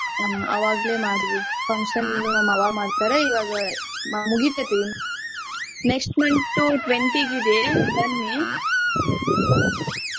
ಹಾ ಅವಾಗ್ಲೆ ಮಾಡಿದ್ದು function ನ್ನು ಅವಾಗ್ ಮಾಡ್ತಾರೆ ಇವಾಗ ಮುಗಿತೈತಿ next month twenty ಗಿದೆ ಬನ್ನಿ .